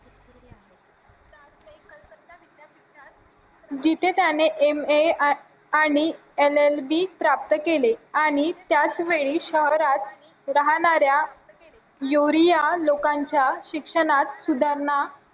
जिथे त्याने MA आणि LLB प्राप्त केली आणि त्याच वेळेस शहरात राहणाऱ्या लोकांच्या शिक्षणात सुधारणा